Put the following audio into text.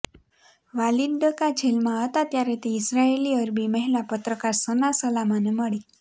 Walid Daqqa જેલમાં હતા ત્યારે તે ઇઝરાઇલી અરબી મહિલા પત્રકાર સના સલામાને મળી